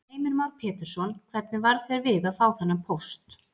Heimir Már Pétursson: Hvernig varð þér við að fá þennan póst?